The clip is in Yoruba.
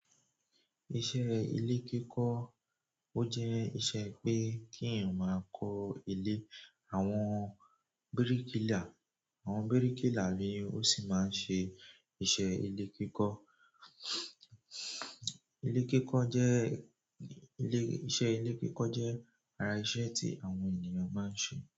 Iṣẹ́ ile kiko o je iṣẹ́ pe ki eyan maa ko ile. Àwọn bíríkìlà, àwọn bíríkìlà ni ó sì máa ń ṣe iṣẹ́ ilé kíkọ́. Ilé kíkọ́ jẹ́, ilé, iṣẹ́ ilé kíkọ́ jẹ́ ara iṣẹ́ tí àwọn ènìyàn máa ń ṣe.